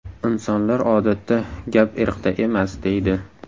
Insonlar odatda: ‘Gap irqda emas’, deydi.